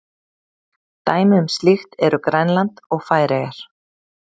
Dæmi um slíkt eru Grænland og Færeyjar.